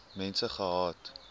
mense gehad